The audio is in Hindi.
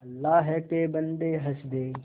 अल्लाह के बन्दे हंस दे